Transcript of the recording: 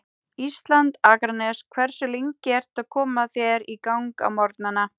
Ísland, Akranes Hversu lengi ertu að koma þér í gang á morgnanna?